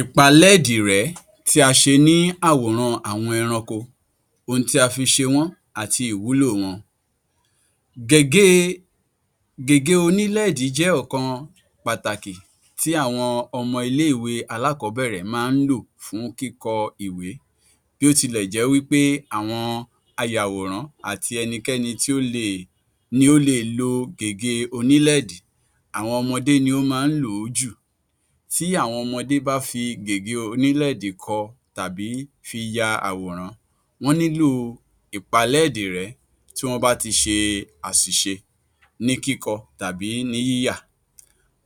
Ipalẹ́ẹ̀dì-rẹ́ tí a ṣe ní àwòrán àwọn ẹranko, ohun tí a fi ṣe wọ́n àti ìwúlò wọn. Gègé onílẹ́ẹ̀dì jẹ́ ọ̀kan pàtàkì tí àwọn ọmọ ilé-ìwé alákọ̀ọ́bẹ̀rẹ̀ máa ń kọ́kọ́ lò fún kíkọ ìwé bí ó tilẹ̀ jẹ́ wí pé àwọn ayàwọ̀rán àti ẹnikẹ́ni ni ó le è lo gègé onílẹ́ẹ̀dì, àwọn ọmọdé ni ó máa ń lò ó jù, tí àwọn ọmọdé bá fi gègé onílẹ́ẹ̀dì kọ tàbí fi ya àwòrán wọ́n nílò ìpalẹ́ẹ̀dì-rẹ́ tí wọ́n bá ti ṣe àṣìṣe ní kíkọ tàbí ní yíyà,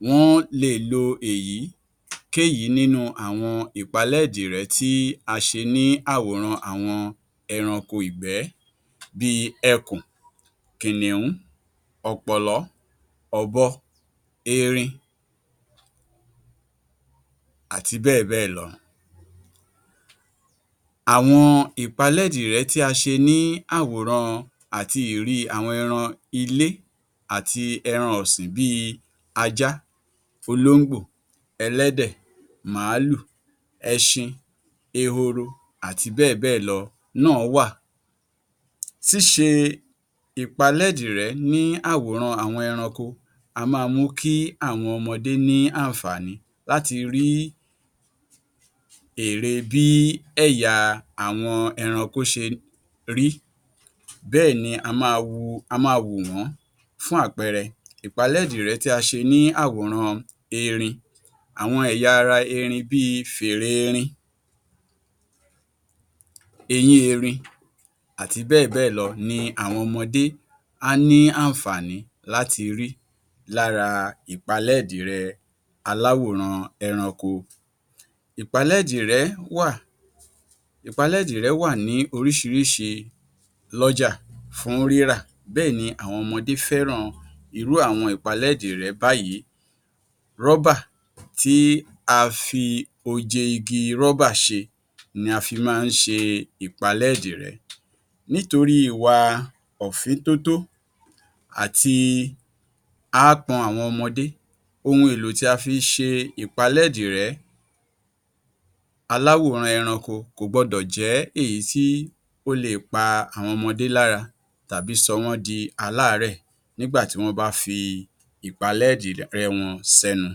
wọ́n le è lo èyíkéyìí nínú àwọn ìpalẹ́èdì-rẹ́ tí a ṣe ní àwòrán àwọn ẹranko ìgbẹ́ bí i ẹkùn, kìnìún, ọ̀pọ̀lọ́, òbo, erin àti bẹ́ẹ̀ bẹ́ẹ̀ lọ. Àwọn ìpalẹ́ẹ̀dì-rẹ́ tí a ṣe ní àwòrán àti ìrí àwọn ẹranko ilé àti ẹran ọ̀sìn bí i ajá, olóńgbò, ẹlẹ́dẹ̀, màálù, ẹṣin, ehoro àti bẹ́è bẹ́ẹ̀ lọ náà wà. Ṣíṣẹ ìpalẹ́ẹ̀dì-rẹ́ ní àwòrán àwọn ẹranko máa mú kí àwọn ọmọdé ní àǹfààní láti rí ère bí àwọn ẹ̀yà ẹranko ṣe rí bẹ́ẹ̀ ni á máa wò wọ́n. Fún àpẹẹrẹ ìpalẹ́ẹ̀dì-rẹ́ tí a ṣe ní àwòrán erin, àwọn ẹ̀yà ara erin bí i fèrè erin, eyín erin àti bẹ́ẹ̀ bẹ́ẹ̀ lọ ni àwọn ọmọdé á ní àǹfàá̀ní láti rí lára ìpalẹ́ẹ̀dì-rẹ́ aláwòrán ẹranko. Ìpalẹ́èdì-rẹ́ wà ní oríṣiríṣi lọ́jà fún rírà, bẹ́ẹ̀ ni àwọn ọmọdé fẹ́ràn irú àwọn ìpalẹ́ẹ̀dì-rẹ́ báyìí, rọ́bà tí a fi oje igi rọ́bà ṣe ni a fi máa ń ṣe ìpalẹ́ẹ̀dì-rẹ́, nítorí wa ọ̀fíntótó àti aápọn àwọn ọmọdé, ohun èlò tí a fi ṣe ìpalẹ́ẹ̀dì-rẹ́ aláwòrán ẹranko kò gbọ́dọ̀ jẹ́ èyí tí ó le è pa àwọn ọmọdé lára tàbí sọ wọ́n di aláàrẹ́ẹ̀ nígbà tí wọ́n bá fi ìpalẹ́ẹ̀dì-rẹ́ wọn sẹ́nu.